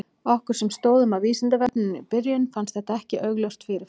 Okkur sem stóðum að Vísindavefnum í byrjun fannst þetta ekki augljóst fyrir fram.